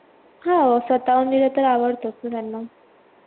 हा स्वतःहून लिहल तर आवडतो त्यांना